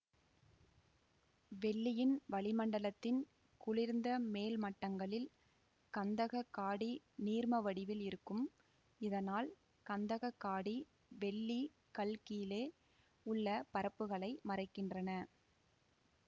வெள்ளியின் வளிமண்டலத்தின் குளிர்ந்த மேல் மட்டங்களில் கந்தக காடி நீர்ம வடிவில் இருக்கும் இதனால் கந்தக காடி வெள்ளி கள் கீழே உள்ள பரப்ப்புகளை மறைக்கின்றன